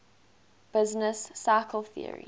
business cycle theory